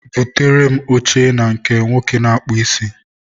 Butere m oche na nke nwoke na-akpụ isi.